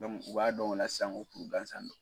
u b'a dɔn o la san ko kuru gansan don.